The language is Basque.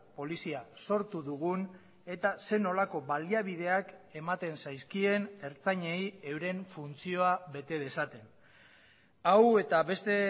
polizia sortu dugun eta zer nolako baliabideak ematen zaizkien ertzainei euren funtzioa bete dezaten hau eta beste